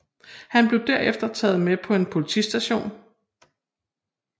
Han blev derefter taget med på en politistation